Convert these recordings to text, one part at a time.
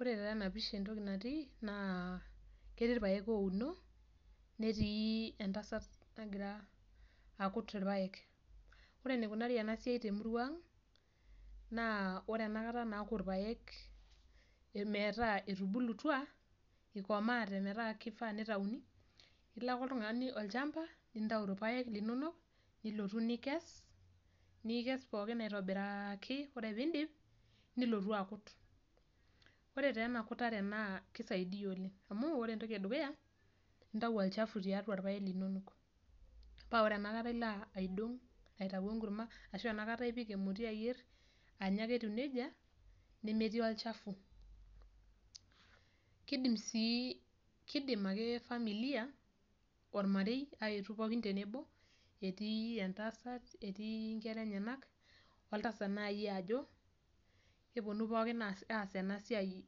Ore tenapisha entoki natii, naa ketii irpaek ouno, netii entasat nagira akut irpaek. Ore enikunari enasiai temurua ang, naa ore enakata naaku irpaek metaa etubulutua, ikomaate metaa kifaa nitauni, nilo ake oltung'ani olchamba, nintau irpaek linonok, nilotu nikes, nikes pookin aitobiraki, ore pidip, nilotu akut. Ore taa enakutare naa kisaidia oleng. Amu ore entoki edukuya, intau olchafu tiatua irpaek linonok. Pa ore enakata ilo aidong' aitayu enkurma, ashu enakata ipik emoti ayier, anya ake etiu nejia, nemetii olchafu. Kidim si, kidim ake familia, ormarei aetu pookin tenebo, etii entasat, etii nkera enyanak, oltasat nai ajo, keponu pookin aas enasiai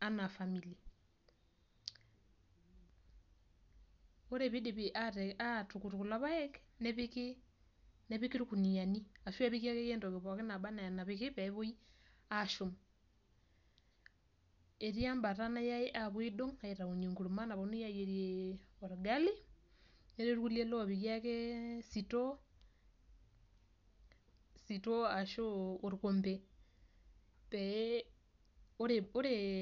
anaa family. Ore pidipi atukut kulo paek, nepiki irkuniyiani. Ashu epiki akeyie entoki pookin naba enaa enapiki, peepoi ashum. Etii ebata nayai apuo aidong' aitaunye enkurma naponunui ayierie orgali, netii irkulie lopiki ake sitoo, sitoo ashu orkompei, pee ore